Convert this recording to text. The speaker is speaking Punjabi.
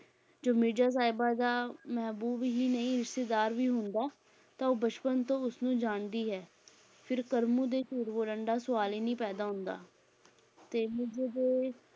ਜੋ ਮਿਰਜ਼ਾ, ਸਾਹਿਬਾਂ ਦਾ ਮਹਿਬੂਬ ਹੀ ਨਹੀਂ ਰਿਸ਼ਤੇਦਾਰ ਵੀ ਹੁੰਦਾ ਹੈ ਤਾਂ ਉਹ ਬਚਪਨ ਤੋਂ ਉਸ ਨੂੰ ਜਾਣਦੀ ਹੈ, ਫਿਰ ਕਰਮੂ ਦੇ ਝੂਠ ਬੋਲਣ ਦਾ ਸੁਆਲ ਹੀ ਨੀ ਪੈਦਾ ਹੁੰਦਾ ਤੇ ਮਿਰਜ਼ੇ ਦੇ